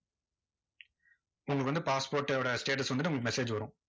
உங்களுக்கு வந்து passport ஓட status வந்துட்டு உங்களுக்கு message வரும்.